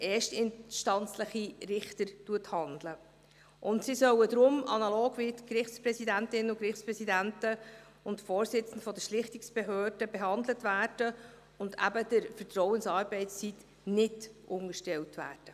Sie sollen deshalb analog der Gerichtspräsidentinnen und Gerichtspräsidenten sowie der Vorsitzenden der Schlichtungsbehörden behandelt werden und der Vertrauensarbeitszeit eben nicht unterstellt werden.